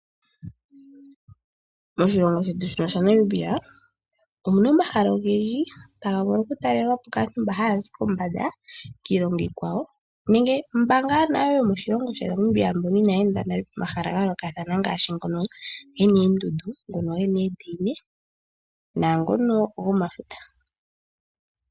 Moshilongo shetu shaNamibia omu na omahala ogendji tamu vulu okutalelwa po kaantu oyendji mbono haya zi kombanda kiilongo iikwawo, nenge mboka tuu yomoNamibia inaya enda nale pomahala ga yoolokathana ngaashi ngono ge na oondundu, oondaina naangono gomafuta.